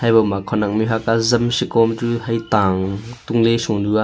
habo ma khenek mihhok azam seko am chu he ta ang tung ley sonu aa.